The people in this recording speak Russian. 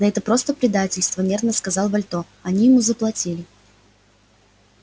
да это просто предательство нервно сказал вальто они ему заплатили